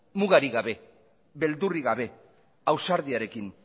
mugarik gabe beldurrik gabe ausardiarekin